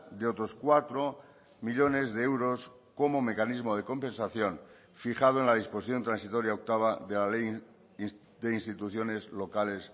de otros cuatro millónes de euros como mecanismo de compensación fijado en la disposición transitoria octava de la ley de instituciones locales